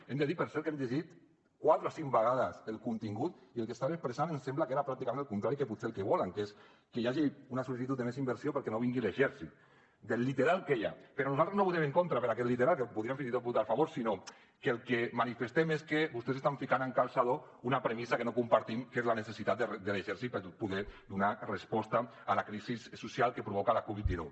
hem de dir per cert que hem llegit quatre o cinc vegades el contingut i el que estan expressant ens sembla que era pràcticament el contrari que potser el que volen que és que hi hagi una sol·licitud de més inversió perquè no vingui l’exèrcit del literal que hi ha però nosaltres no hi votarem en contra per aquest literal que podríem fins i tot votar hi a favor sinó que el que manifestem és que vostès estan ficant amb calçador una premissa que no compartim que és la necessitat de l’exèrcit per poder donar resposta a la crisi social que provoca la covid dinou